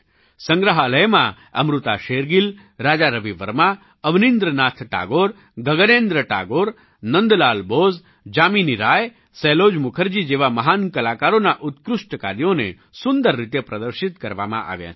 સંગ્રહાલયમાં અમૃતા શેરગિલ રાજા રવિ વર્મા અવનીંદ્ર નાથ ટાગોર ગગનેન્દ્ર ટાગોર નંદલાલ બોઝ જામિની રાય સેલોજ મુખર્જી જેવા મહાન કલાકારોનાં ઉત્કૃષ્ટ કાર્યોને સુંદર રીતે પ્રદર્શિત કરવામાં આવ્યાં છે